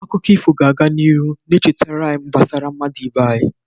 Akụkọ ifo ga-aga n'ihu na-echetara anyị gbasara mmadụ ibe anyị.